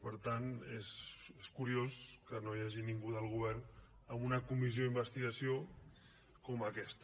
per tant és curiós que no hi hagi ningú del govern en una comissió d’investigació com aquesta